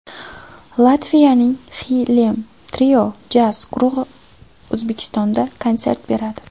Latviyaning Xylem Trio jazz guruhi O‘zbekistonda konsert beradi.